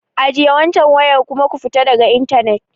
Ajiye waccan wayar kuma ku fita daga intanet.